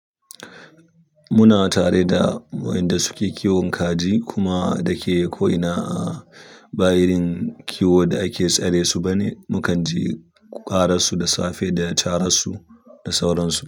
Muna tare da waɗanda suke kiwon kaji kuma da ke ko'ina a bayin kiwo da ake tsare su bane. Mukan je ko karar su da safe da carar su da sauran su.